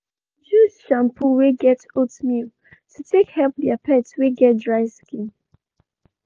they been choose shampoo wey get oatmeal to take help their pet wey get dry skin.